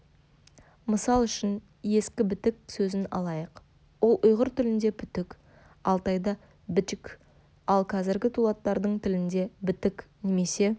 мысал үшін ескі бітік сөзін алайық ол ұйғыр тілінде пүтік алтайда бічік ал қазіргі дулаттардың тілінде бітік немесе